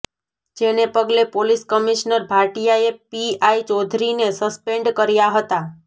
જેને પગલે police commissioner ભાટિયાએ પીઆઈ ચૌધરીને સસ્પેન્ડ કર્યા હતા